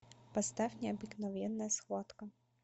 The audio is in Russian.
поставь необыкновенная схватка